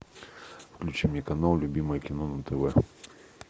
включи мне канал любимое кино на тв